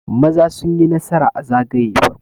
Maza sun yi nasara a zagaye farko